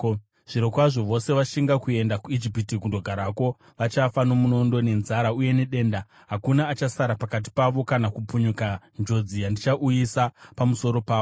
Zvirokwazvo, vose vashinga kuenda kuIjipiti kundogarako vachafa nomunondo, nenzara uye nedenda; hakuna achasara pakati pavo kana kupukunyuka njodzi yandichauyisa pamusoro pavo.’